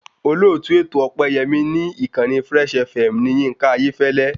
Olóòtú ètò Ọpẹ́yẹmí ni ìkànnì fresh FM ni Yínká Ayéfẹ́lẹ́